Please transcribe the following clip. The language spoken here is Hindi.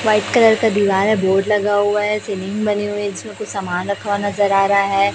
वाइट कलर का दीवार है बोर्ड लगा हुआ है सीलिंग बनी हुई इसमें कुछ समान रखा हुआ नजर आ रहा है।